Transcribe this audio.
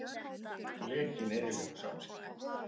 Lekinn eyðileggur samskipti